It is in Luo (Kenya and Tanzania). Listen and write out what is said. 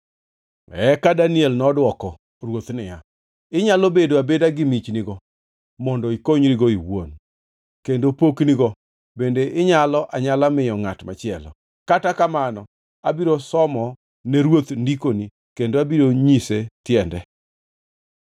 Eka Daniel nodwoko ruoth niya, “Inyalo bedo abeda gi michnigo mondo ikonyrigo iwuon, kendo poknigo bende inyalo anyala miyo ngʼat machielo. Kata kamano, abiro somo ne ruoth ndikoni kendo abiro nyise tiende.